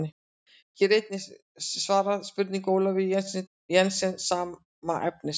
Hér er einnig svarað spurningu Ólafíu Jensdóttur sama efnis.